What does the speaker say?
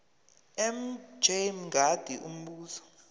mj mngadi umbuzo